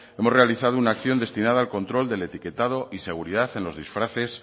hemos realizado una acción destinada al control del etiquetado y seguridad en los disfraces